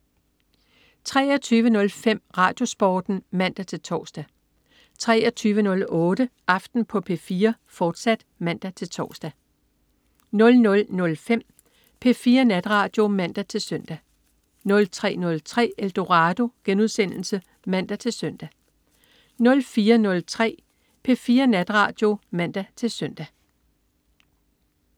23.05 RadioSporten (man-tors) 23.08 Aften på P4, fortsat (man-tors) 00.05 P4 Natradio (man-søn) 03.03 Eldorado* (man-søn) 04.03 P4 Natradio (man-søn)